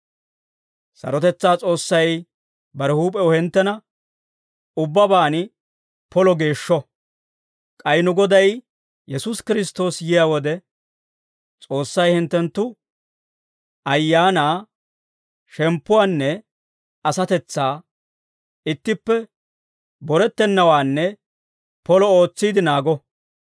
Sarotetsaa S'oossay bare huup'ew hinttena ubbabaan polo geeshsho; k'ay nu Goday Yesuusi Kiristtoosi yiyaa wode, S'oossay hinttenttu ayaanaa, shemppuwaanne asatetsaa ittippe borettennawaanne polo ootsiide naago.